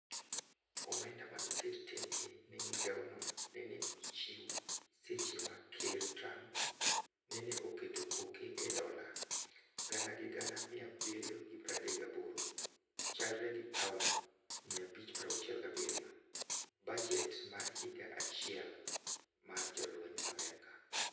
Omenda manoket tenge ne migaono nene ochiw seche ma ker Trump nene oketo koke e dola gana gi gana 738 chalre gi paon 567 bajet mar higa achiel mar jolwenj Amerka.